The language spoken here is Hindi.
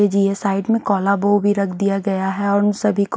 जी जी ये साइड में कोला बु भी रख दिया गया है और उन सभी को--